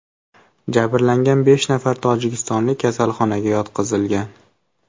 Jabrlangan besh nafar tojikistonlik kasalxonaga yotqizilgan.